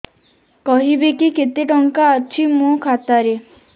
କହିବେକି କେତେ ଟଙ୍କା ଅଛି ମୋ ଖାତା ରେ